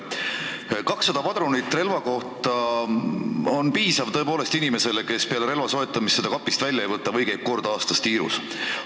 200 padrunit relva kohta on tõepoolest piisav inimesele, kes peale relva soetamist seda kapist välja ei võta või käib kord aastas tiirus.